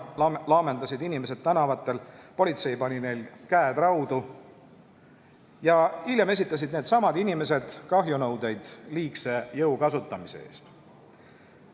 Toona laamendasid inimesed tänavatel, politsei pani neil käed raudu ja hiljem esitasid needsamad inimesed kahjunõudeid liigse jõu kasutamise eest.